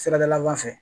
Siradalaban fɛ